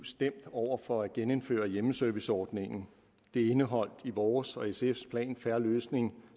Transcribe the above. stemt over for at genindføre hjemmeserviceordningen det er indeholdt i vores og sfs plan fair løsning